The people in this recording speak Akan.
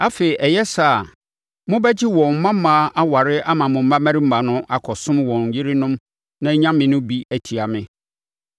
Afei, ɛyɛ saa a, mobɛgye wɔn mmammaa aware ama mo mmammarima no akɔsom wɔn yerenom no anyame bi de atia me.